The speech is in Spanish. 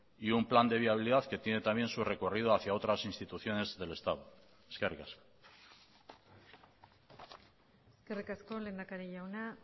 y un plan de viabilidad que tiene también su recorrido hacía otras instituciones del estado eskerrik asko eskerrik asko lehendakari jauna